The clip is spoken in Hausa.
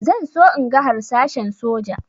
Zan so in ga harsashen soja